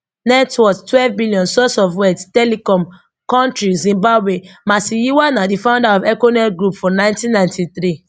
net worth twelve billion source of wealth telecom country zimbabwe masiyiwa na di founder of econet group for nineteen ninety three